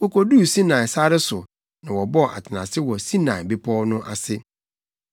Wotu fii Refidim no, wokoduu Sinai sare so na wɔbɔɔ atenase wɔ Sinai Bepɔw no ase.